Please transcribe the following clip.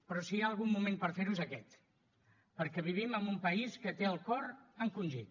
però si hi ha algun moment per fer ho és aquest perquè vivim en un país que té el cor encongit